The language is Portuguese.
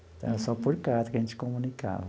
Então, era só por carta que a gente comunicava.